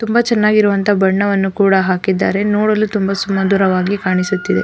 ತುಂಬ ಚೆನ್ನಾಗಿರುವಂತಹ ಬಣ್ಣವನ್ನು ಕೂಡ ಹಾಕಿದ್ದಾರೆ ನೋಡಲು ತುಂಬ ಸುಮಧುರವಾಗಿ ಕಾಣಿಸುತ್ತಿದೆ.